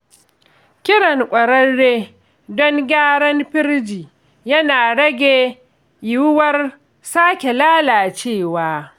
Kiran ƙwararre don gyaran firji yana rage yiwuwar sake lalacewa.